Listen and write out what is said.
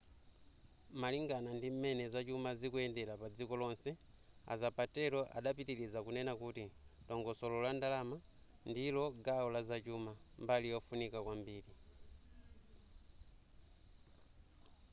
malingana ndim'mene zachuma zikuyendera padziko lonse a zapatero adapitiliza kunena kuti dongosolo la ndalama ndilo gawo la zachuma mbali yofunika kwambiri